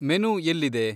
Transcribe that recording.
Menu ಎಲ್ಲಿದೆ?